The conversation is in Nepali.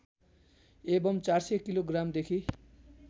एवम् ४०० किलोग्रामदेखि